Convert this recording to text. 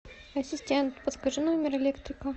ассистент подскажи номер электрика